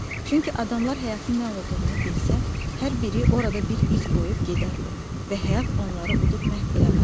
Çünki adamlar həyatın nə olduğunu bilsə, hər biri orada bir iz qoyub gedərdi və həyat onları udub məhv eləməzdi.